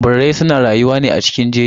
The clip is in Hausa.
Birrai suna rayuwa ne a cikin jeji.